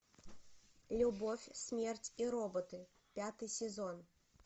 любовь смерть и роботы пятый сезон